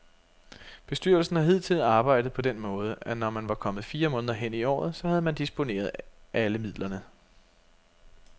Bestyrelsen har hidtil arbejdet på den måde, at når man var kommet fire måneder hen i året, så havde man disponeret alle midlerne.